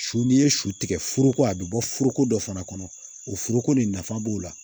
Su ni ye su tigɛ foroko a bɛ bɔ foroko dɔ fana kɔnɔ o foroko nin nafa b'o la